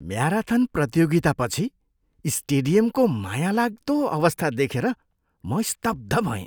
Marathon प्रतियोगितापछि स्टेडियमको मायालाग्दो अवस्था देखेर म स्तब्ध भएँ।